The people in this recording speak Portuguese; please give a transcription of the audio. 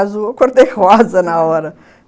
Azul, eu cor-de-rosa na hora